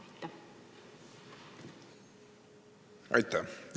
Aitäh!